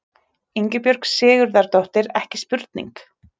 Ingibjörg Sigurðardóttir, ekki spurning!